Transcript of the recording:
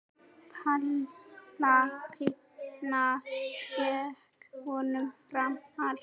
Píla Pína gekk vonum framar.